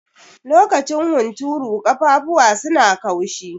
Lokacin hunturu, ƙafafuwa su na kaushi.